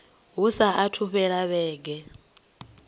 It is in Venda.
hu saathu u fhela vhege